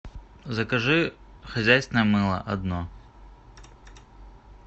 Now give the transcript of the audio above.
закажи хозяйственное мыло одно